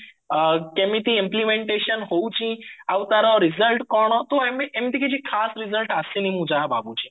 ଅ କେମିତି implementation ହଉଛି ଆଉ ତାର result କଣ ତ ଏମତି ଏମିତିକି ଖାସ result ଆସିନି ମୁଁ ଯାହା ଭାବୁଚି